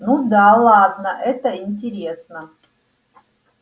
ну да ладно это интересно